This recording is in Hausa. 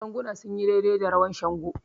Ganguna sun yi daidai da rawan Shango.